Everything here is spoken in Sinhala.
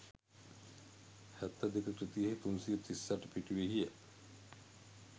7 2 කෘතියෙහි 338 පිටුවෙහි ය.